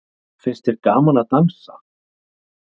Finnst þér gaman að dansa?